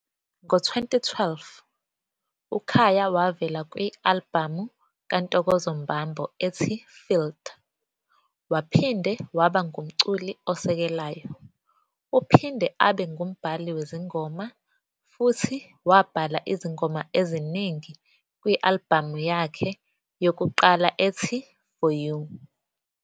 Ngo-2012 uKhaya wavela kwi-albhamu kaNtokozo Mbambo ethi "Filled", waphinde waba ngumculi osekelayo. Uphinde abe ngumbhali wezingoma, futhi wabhala izingoma eziningi kwi-albhamu yakhe yokuqala ethi "For You".